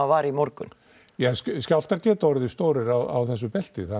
var í morgun jah skjálftar geta orðið stórir á þessu belti